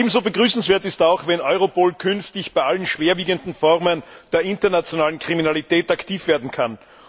Ebenso begrüßenswert ist auch, wenn Europol künftig bei allen schwerwiegenden Formen der internationalen Kriminalität aktiv werden kann.